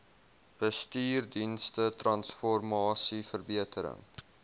bestuursdienste transformasie verbetering